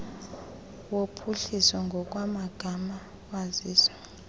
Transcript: wophuhliso ngokwamagama wazisa